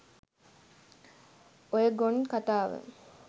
ඔය ගොන් කතාව